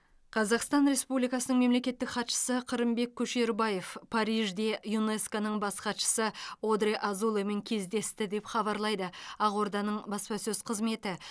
қазақстан республикасының мемлекеттік хатшысы қырымбек көшербаев парижде юнеско ның бас хатшысы одрэ азулемен кездесті деп хабарлайды ақорданың баспасөз қызметі